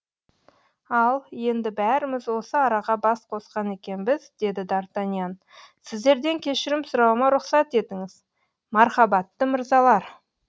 ал енді бәріміз осы араға бас қосқан екенбіз деді д артаньян сіздерден кешірім сұрауыма рұқсат етіңіз мархабатты мырзалар